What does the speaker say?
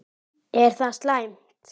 Er það slæmt?